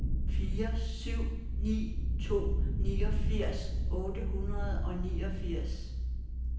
fire syv ni to niogfirs otte hundrede og niogfirs